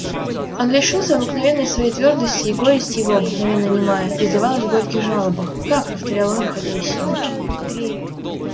он лишился обыкновенной своей твёрдости и горесть его обыкновенно немая изливалась в горьких жалобах как повторял он выходя из себя